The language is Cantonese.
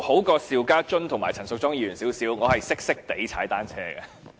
與邵家臻議員和陳淑莊議員比較，我稍為優勝，略懂踏單車。